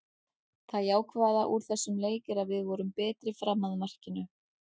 Það jákvæða úr þessum leik er að við vorum betri fram að markinu.